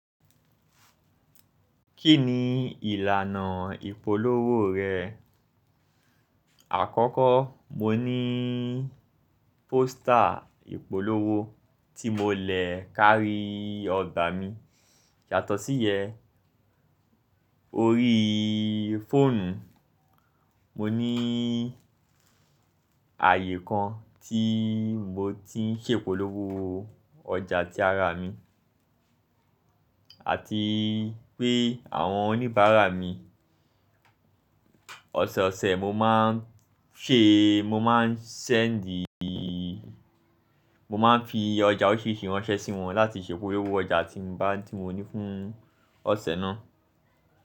Kí ni ìlànà ìpolówó rẹ̀? Àkọ́kọ́ mo ní póster ìpolówó tí mo lè kárí ọgbà mi. Yàtọ̀ sí yẹn, orí fóònù mo ní àyè kan tí mo ti ń ṣe ìpolówó ọjà tí ara mi àti pé àwọn oníbàárà mi, ọ̀sẹ̀ẹ̀sẹ̀ mo máa ń ṣe, mo máa ń ṣẹ́ẹ̀dì, mo máa ń fi ọjà òrisirisi ránṣẹ́ sí wọn láti ṣe ìpolówó ọjà tí mo ní fún ọ̀sẹ̀ náà.